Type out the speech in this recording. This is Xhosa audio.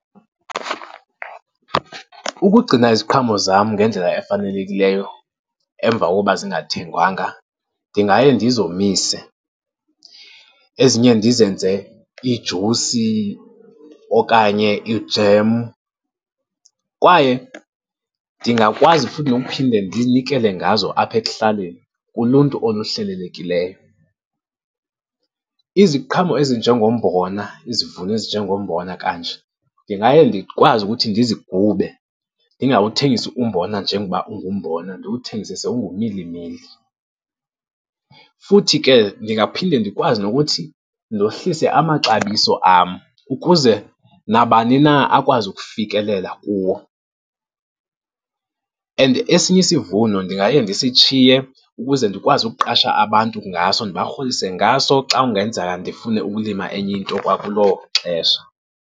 Ukugcina iziqhamo zam ngendlela efanelekileyo emva kokuba zingathengwanga ndingaye ndizomise, ezinye ndizenze iijusi okanye i-jam kwaye ndingakwazi futhi nokuphinde ndinikele ngazo apha ekuhlaleni, kuluntu oluhlelelekileyo. Iziqhamo ezinjengombona, izivuno ezinjengombona kanje, ndingaye ndikwazi ukuthi ndizigube, ndingawuthengisi umbona njengoba ungumbona, ndiwuthengise sewungumilimili. Futhi ke ndingaphinde ndikwazi nokuthi ndohlise amaxabiso am, ukuze nabani na akwazi ukufikelela kuwo. And esinye isivuno ndingaye ndisitshiye ukuze ndikwazi ukuqasha abantu ngaso, ndibarholise ngaso xa kungenzeka ndifune ukulima enye into kwakuloo xesha.